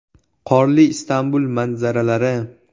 Qorli Istanbul manzalari.